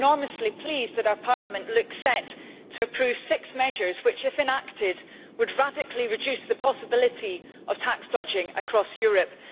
I am enormously pleased that our Parliament looks set to approve six measures which, if enacted, would radically reduce the possibility of tax dodging across Europe.